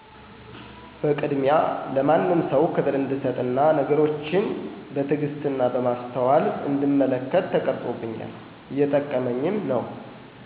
በቅድሚያ ለማንም ሰው ከብር እንድሰጥና ነገሮችን በትግስት በማሰተዋል እንድመለከት ተቀረፆብኛል እየጠቀመኝም ነው።